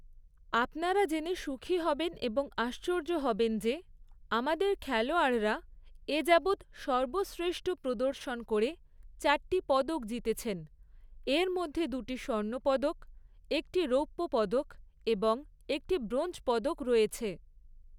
আপনারা জেনে সুখী হবেন এবং আশ্চর্য হবেন যে, আমাদের খেলোয়াড়রা এ যাবৎ সর্বশ্রেষ্ঠ প্রদর্শন করে চারটি পদক জিতেছেন; এর মধ্যে দুটি স্বর্ণপদক, একটি রৌপ্য পদক এবং একটি ব্রোঞ্জ পদক রয়েছে।